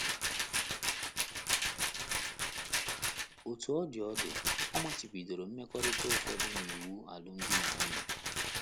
Otú ọ dị ọ dị, ọ machibidoro mmekọrịta ụfọdụ n’iwu alụmdi na nwunye.